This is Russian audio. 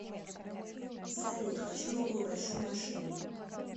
салют хочу новую большую машину